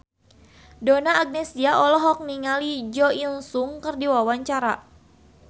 Donna Agnesia olohok ningali Jo In Sung keur diwawancara